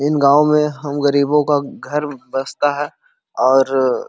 इन गांव में हम गरीबों का घर बस्ता है और --